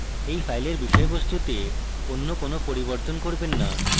এই file বিষয়বস্তুতে any কোনো পরিবর্তন করবেন না